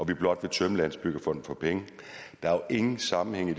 vi blot vil tømme landsbyggefonden for penge der er jo ingen sammenhæng i